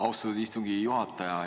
Austatud istungi juhataja!